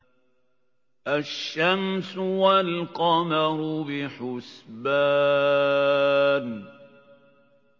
الشَّمْسُ وَالْقَمَرُ بِحُسْبَانٍ